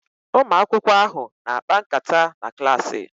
Ụmụ akwụkwọ ahụ na-akpa nkata na klaasị